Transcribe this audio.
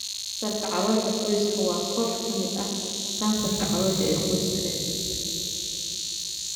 Kansarka caloosha qoyska waa koox ka mid ah kansarka caloosha ee qoyska dhexdiisa.